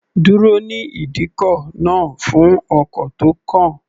Dúró ní ìdíkọ̀ náà fún ọkọ̀ tó kàn.